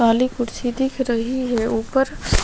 काली कुर्सी दिखी रही है ऊपर --